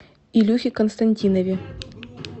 илюхе константинове